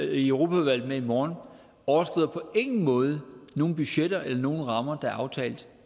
med i europaudvalget i morgen overskrider på ingen måde nogen budgetter eller nogen rammer der er aftalt